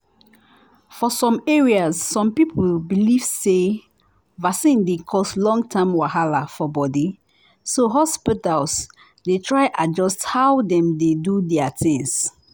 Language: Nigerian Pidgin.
for some areas some people believe say vaccine dey cause long-term wahala for body so hospitals dey try adjust how dem dey do their things.